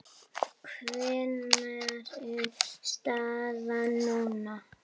Hver er staðan núna?